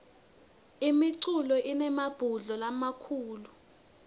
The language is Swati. imifula inemabhudlo lamakhulu